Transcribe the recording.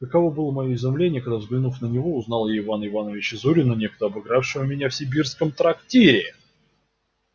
каково было моё изумление когда взглянув на него узнал я ивана ивановича зурина некогда обыгравшего меня в симбирском трактире